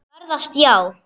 Ferðast já.